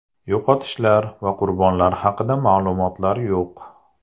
Yo‘qotishlar va qurbonlar haqida ma’lumotlar yo‘q.